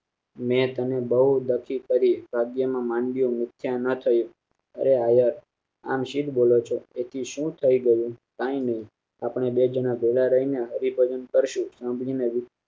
મેં તને બોવ દખી કરી નિષ્ઠા ના કરી અરે હવે આમ સિદ બોલો છો એથી શું થાય ગયું કઈ નઈ અપડે બે જન ભેગા રાઈ ને હરિભજન કરશું સામ